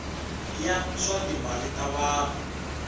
ya swa timal wa vanhu